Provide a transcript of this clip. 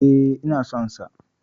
E, ina son sa.